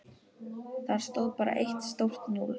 Þar stóð bara eitt stórt núll.